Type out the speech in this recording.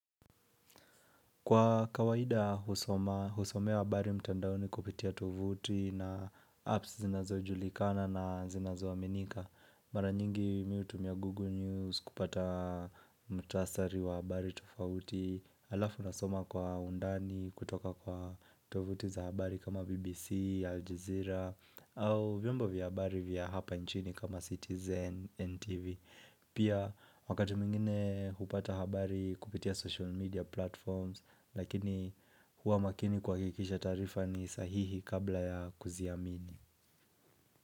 Kwa kawaida husoma, husomea habari mtandaoni kupitia tovuti na apps zinazojulikana na zinazoaminika. Mara nyingi mi hutumia Google News kupata mukhtasari wa habari tofauti Alafu nasoma kwa undani kutoka kwa tovuti za habari kama BBC, Aljazeera au vyombo vya habari vya hapa nchini kama Citizen, NTV Pia wakati mwingine hupata habari kupitia social media platforms lakini huwa makini kuhakikisha taarifa ni sahihi kabla ya kuziamini.